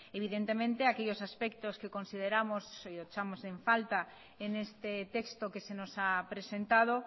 evidentemente aquellos aspectos que consideramos o echamos en falta en este texto que se nos ha presentado